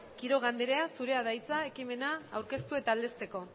quiroga anderea zurea da hitza ekimena aurkeztu eta aldezteko